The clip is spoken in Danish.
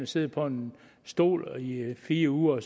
sidder på en stol i fire uger